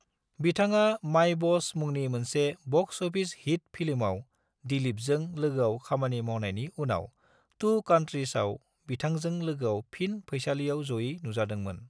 बिथाङा 'My Boss' मुंनि मोनसे बक्स अफिस हिट फिल्मआव दिलीपजों लोगोआव खामानि मावनायनि उनाव 'टू कंट्रीज' आव बिथांजों लोगोआव फिन फैसालिआव जयै नुजादोंमोन।